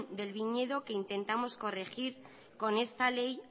del viñedo que intentamos corregir con esta ley